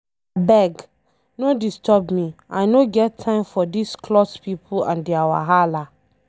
Abeg, no disturb me I no get time for dis cloth people and their wahala.